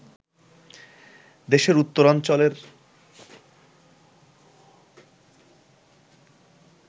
দেশের উত্তরাঞ্চলের